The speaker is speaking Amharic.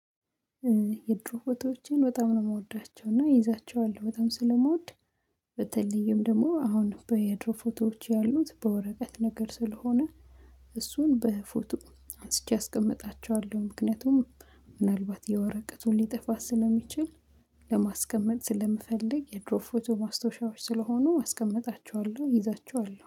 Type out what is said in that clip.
የድሮ ፎቶዎችን በጣም ነው የምወዳቸው እና ይዛቸዋለሁ በጣም ስለምወድ በተለየም ደግሞ አሁን በየድሮ ፎቶዎች ያሉት በወረቀት ነገር ስለሆነ እሱን በፎቶ አንስቼ አስቀምጣችኋለሁ ምክንያቱም ምናልባት የወረቀቱን ሊጠፋ ስለሚችል ለማስቀመጥ ስለምፈልግ የድሮ ፎቶ ማስታወሻዎች ስለሆኑ አስቀምጣችኋለሁ ይዛችኋል